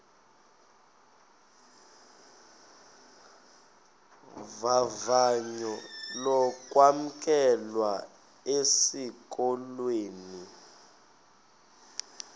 vavanyo lokwamkelwa esikolweni